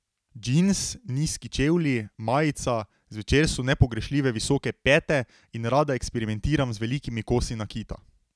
Džins, nizki čevlji, majica, zvečer so nepogrešljive visoke pete in rada eksperimentiram z velikimi kosi nakita.